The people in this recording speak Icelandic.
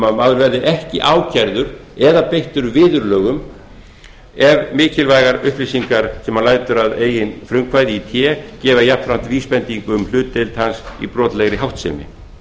að maður verði ekki ákærður eða beittur viðurlögum ef mikilvægar upplýsingar sem hann lætur að eigin frumkvæði í té gefa jafnframt vísbendingu um hlutdeild hans í brotlegri háttsemi